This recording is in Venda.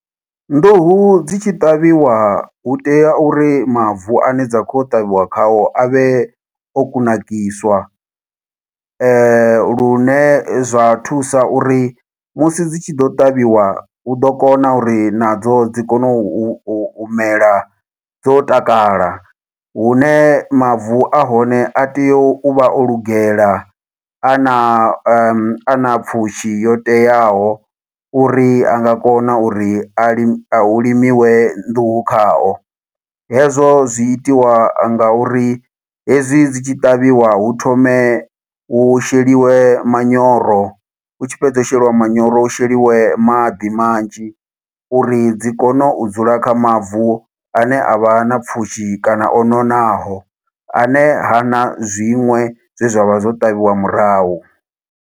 Nḓuhu dzi tshi ṱavhiwa hu tea uri mavu ane dza khou ya u ṱavhiwa khao a vhe o kunakiswa. Lune zwa thusa uri musi dzi tshi ḓa u ṱavhiwa, hu ḓo kona uri nadzo dzi kone u mela dzo takala, hune mavu ahone a tea u vha o lugela, a na a na pfushi yo teaho, uri a nga kona uri hu limiwe nḓuhu khao. Hezwo zwi itiwa nga uri hezwi dzi tshi ṱavhiwa hu thome hu sheliwe manyoro, hu tshi fhedza u sheliwa manyoro, hu sheliwe maḓi manzhi uri dzi kone u dzula kha mavu ane a vha na pfushi kana o nonaho. A ne hana zwiṅwe zwe zwa vha zwo ṱavhiwa murahu.